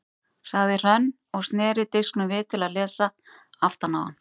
sagði Hrönn og sneri disknum við til að lesa aftan á hann.